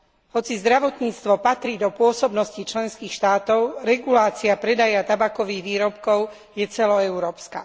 Hoci zdravotníctvo patrí do pôsobnosti členských štátov, regulácia predaja tabakových výrobkov je celoeurópska.